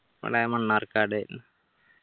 നമ്മളെ മണ്ണാർക്കാട്